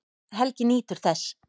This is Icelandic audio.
Helgi nýtur þess.